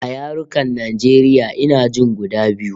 A yarukan Najeriya ina jin guda biyu